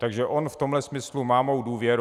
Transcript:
Takže on v tomhle smyslu má mou důvěru.